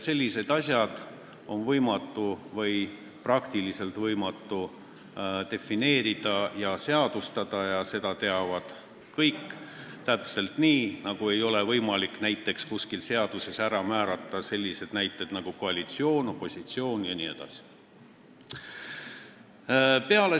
Selliseid asju on sama hästi kui võimatu defineerida ja seadustada, seda teavad kõik, täpselt nii nagu ei ole võimalik kuskil seaduses ära määrata näiteks koalitsiooni, opositsiooni jne.